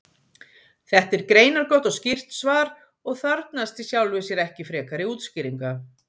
Þetta er greinargott og skýrt svar og þarfnast í sjálfu sér ekki frekari útskýringa.